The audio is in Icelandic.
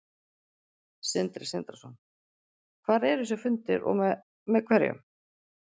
Sindri Sindrason: Hvar eru þessir fundir og með, með hverjum?